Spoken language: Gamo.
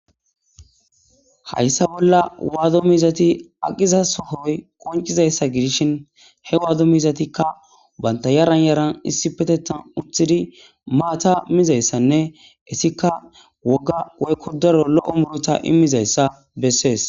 Haysa bolla waado miizati aqiza sohoy qo.cizaysa gidishin,he waado miizatika banta yaran yaran issipetethan eqqidi maata mizaysanne istika wogga woyko daro muuruta immizaysa bessees.